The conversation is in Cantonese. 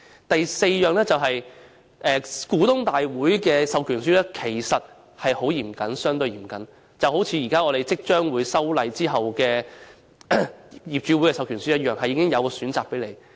第四，股東大會的授權書其實相對嚴謹，正如我們現在即將進行的修例後的業主授權書般，須作出相關選擇。